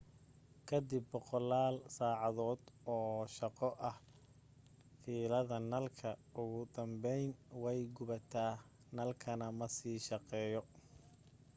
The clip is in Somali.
kadib boqolaal saacadood oo shaqo ah fiilada nalka ugu dambayn way gubataa nalkana ma sii shaqeeyo